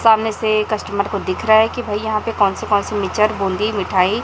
सामने से कस्टमर को दिख रहा है कि भाई यहां पे कौन से कौन से मिच्चर बूंदी मिठाई--